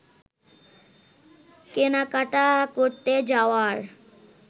কেনাকাটা করতে যাওয়ার